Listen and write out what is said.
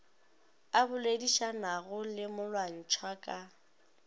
a boledišanago le molwantšhwa ka